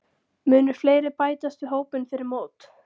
Munu fleiri bætast við hópinn fyrir mót?